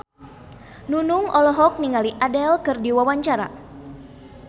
Nunung olohok ningali Adele keur diwawancara